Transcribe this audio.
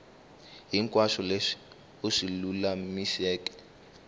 hinkwaswo leswi u swi lulamiseke